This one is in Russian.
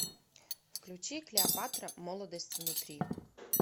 включи клеопатра молодость внутри